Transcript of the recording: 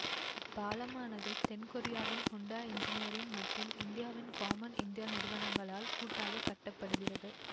இப்பாலமானது தென் கொரியாவின் Hyundai engineering மற்றும் இந்தியாவின் காம்மன் இந்தியா நிறுவனங்களால் கூட்டாக கட்ட படுகிறது